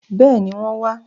Bẹ́ẹ̀ni, wọ́n wá